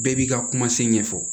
Bɛɛ b'i ka kuma se ɲɛfɔ